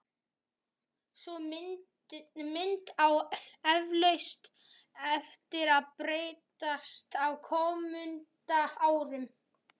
Sú mynd á eflaust eftir að breytast á komandi árum.